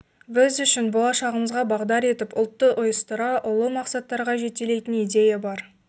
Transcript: біз үшін болашағымызға бағдар етіп ұлтты ұйыстыра ұлы мақсаттарға жетелейтін идея бар